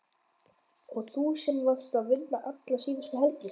Og þú sem varst að vinna alla síðustu helgi!